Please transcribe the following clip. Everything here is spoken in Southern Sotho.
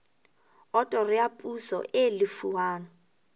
otoro ya poso e lefuwang